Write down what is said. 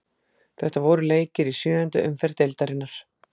Þetta voru leikir í sjöundu umferð deildarinnar.